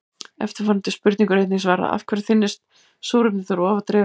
Eftirfarandi spurningu var einnig svarað: Af hverju þynnist súrefnið þegar ofar dregur?